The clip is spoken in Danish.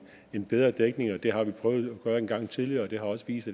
en bedre dækning det har vi prøvet at gøre en gang tidligere og det har også vist